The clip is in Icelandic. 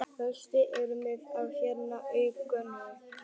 Flestir eru með hár yfir augunum.